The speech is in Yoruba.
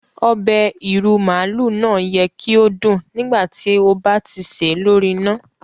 Obẹ̀ ìrú màálú náà yẹ ki o dún nígbàtí o ba ti ṣè lori ina.